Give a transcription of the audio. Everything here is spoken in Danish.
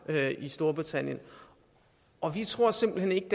i storbritannien og vi tror simpelt hen ikke